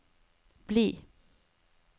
bli